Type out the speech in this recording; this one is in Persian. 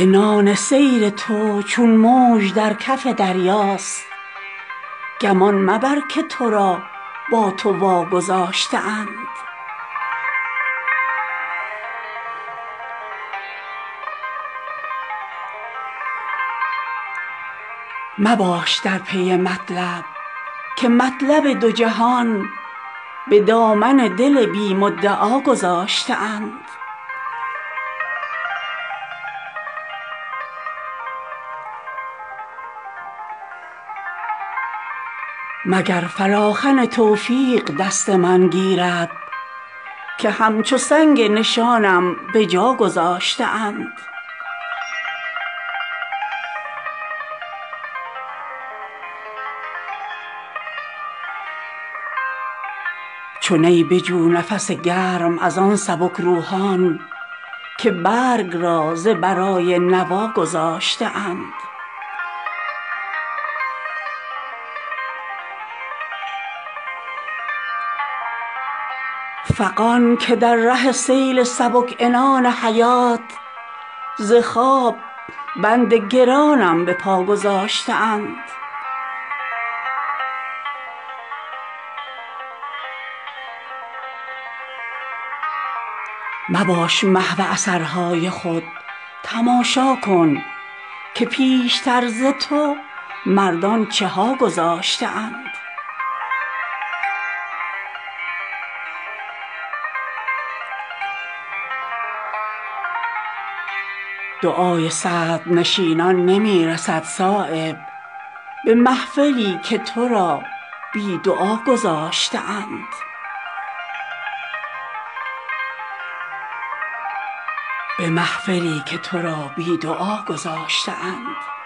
به مدعا نرسند که رو به کعبه حاجت رواگذاشته اند چه فارغند ز رد وقبول مردانی که پای خود به مقام رضا گذاشته اند عنان سیر تو چون موج در کف دریاست گمان مبر که ترا با تو وا گذاشته اند چو نی بجو نفس گرم ازان سبکروحان که برگ را ز برای نوا گذاشته اند مباش در پی مطلب که مطلب دو جهان به دامن دل بی مدعا گذاشته اند معاشران که ز هم نقد وقت می دزدند چه نعمتی است که ما را به ما گذاشته اند ربوده است دل بدگمان قرار ترا وگرنه قسمت هرکس جدا گذاشته اند فغان که در ره سیل سبک عنان حیات ز خواب بند گرانم به پاگذاشته اند مگر فلاخن توفیق دست من گیرد که همچو سنگ نشانم بجاگذاشته اند میار دست فضولی ز آستین بیرون که شمع وشیشه وساغربجاگذاشته اند چه شد که هیچ نداری کم است این نعمت که آستان ترا بی گدا گذاشته اند مباش محو اثرهای خود تماشا کن که پیشتر ز تو مردان چهاگذاشته اند دعای صدرنشینان نمی رسد صایب به محفلی که ترا بی دعا گذاشته اند